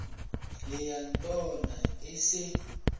le ya ntona e se